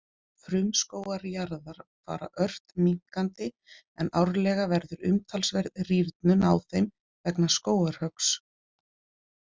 Frumskógar jarðar fara ört minnkandi en árlega verður umtalsverð rýrnun á þeim vegna skógarhöggs.